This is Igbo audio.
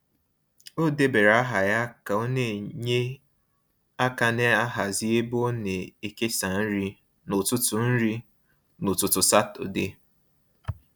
O debara aha ya ka ọ na-enye aka n'hazi ebe a na-ekesa nri n’ụtụtụ nri n’ụtụtụ Satọde.